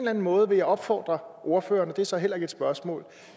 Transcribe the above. anden måde vil opfordre ordføreren og det er så heller ikke et spørgsmål